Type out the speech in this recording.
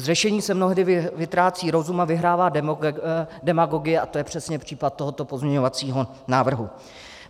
Z řešení se mnohdy vytrácí rozum a vyhrává demagogie a to je přesně případ tohoto pozměňovacího návrhu.